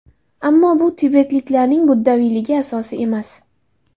Ammo bu tibetliklarning buddaviyligi asosi emas.